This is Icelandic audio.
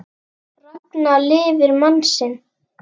Ragna lifir mann sinn.